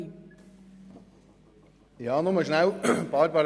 Kommissionssprecher der GSoK-Minderheit II.